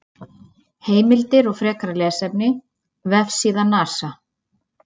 Heimildir og frekara lesefni: Vefsíða NASA.